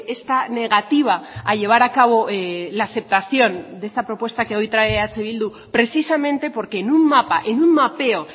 esta negativa a llevar a cabo la aceptación de esta propuesta que hoy trae eh bildu precisamente porque en un mapa en un mapeo